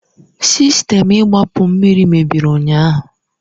Sistemu igbapu mmiri mebiri ụnyahụ.